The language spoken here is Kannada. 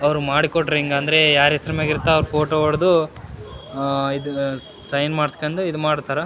ಅವ್ರು ಮಾಡಿಕೊಡ್ರಿ ಹಿಂಗ್ ಅಂದ್ರೆ ಯಾರ್ ಹೆಸರ್ನಾಗೆ ಇರ್ತಾವ ಫೋಟೋ ಹೊಡೆದು ಸೈನ್ ಮಾಡ್ಸ್ಕೊಂಡು ಇದ್ ಮಾಡ್ತಾರಾ.